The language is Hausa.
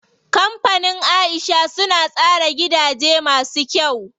Kampanin Aisha suna tsara gidaje masu kyau.